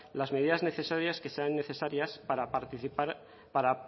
las medidas necesarias que sean necesarias para participar para